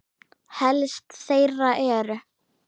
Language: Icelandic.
Helst þeirra eru